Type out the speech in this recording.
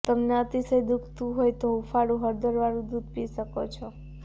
તમને અતીશય દુખતું હોય તો તમે હુંફાળુ હળદર વાળું દૂધ પી શકો છો